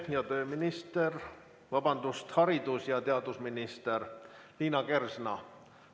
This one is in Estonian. Arupärijatele vastab haridus- ja teadusminister Liina Kersna.